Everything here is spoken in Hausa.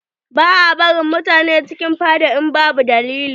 Ba a barin mutane cikin fada in babu dalili.